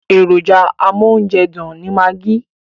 Èròjà amóúnjẹdùn ni magi.